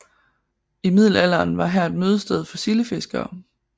I middelalderen var her et mødested for sildefiskere